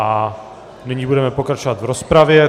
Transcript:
A nyní budeme pokračovat v rozpravě.